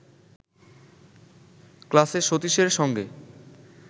ক্লাসে সতীশের সঙ্গে